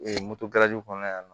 moto kɔnɔna in na